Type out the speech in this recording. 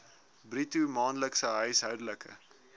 bruto maandelikse huishoudelike